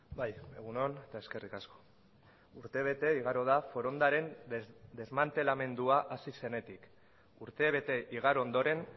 bai egun on eta eskerrik asko urtebete igaro da forondaren desmantelamendua hasi zenetik urtebete igaro ondoren